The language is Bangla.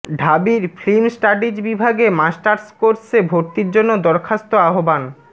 ঢাবির ফিল্ম স্টাডিজ বিভাগে মাস্টার্স কোর্সে ভর্তির জন্য দরখাস্ত আহবান